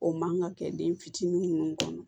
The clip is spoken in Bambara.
O man kan ka kɛ den fitinin minnu kɔnɔ